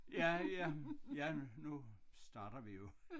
Ja ja ja nu starter vi jo